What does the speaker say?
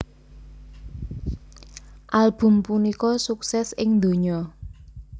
Album punika sukses ing donya